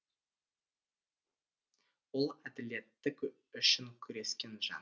ол әділеттік үшін күрескен жан